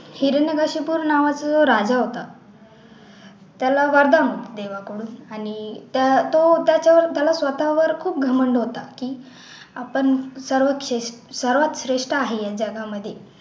हिरण्यकशिपू नावाचा राजा होता त्याला वरदान होते देवा कडून आणि तर तो त्याचा त्याला स्वतःवर खूप घमंड होता की आपण सर्वात श्रेष्ठ आहे या जगामध्ये